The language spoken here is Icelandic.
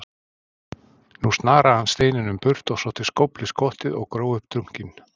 Nú snaraði hann steininum burt og sótti skóflu í skottið og gróf upp dunkinn.